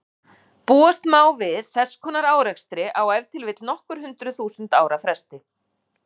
Búast má við þess konar árekstri á ef til vill nokkur hundruð þúsund ára fresti.